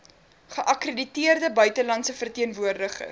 geakkrediteerde buitelandse verteenwoordigers